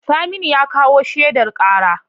Saminu ya kawo shaidar karar.